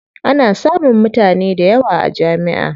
Ana samun mutane dayawa a jami'a.